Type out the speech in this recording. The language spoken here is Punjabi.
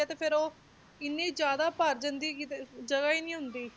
ਤੇ ਫਿਰ ਉਹ ਇੰਨੇ ਜ਼ਿਆਦਾ ਭਰ ਜਾਂਦੀ ਹੈਗੀ ਕਿ ਜਗ੍ਹਾ ਹੀ ਨੀ ਹੁੰਦੀ